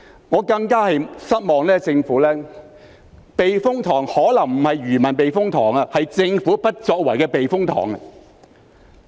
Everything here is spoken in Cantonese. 我對政府感到更失望的是，避風塘可能不是漁民的避風塘，而是政府不作為的避風塘。